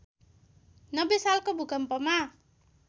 ९० सालको भूकम्पमा